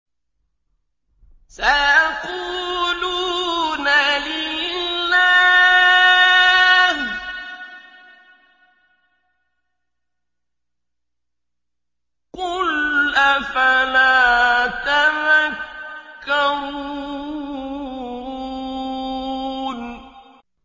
سَيَقُولُونَ لِلَّهِ ۚ قُلْ أَفَلَا تَذَكَّرُونَ